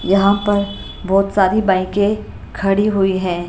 यहां पर बहुत सारी बाईके खड़ी हुई हैं।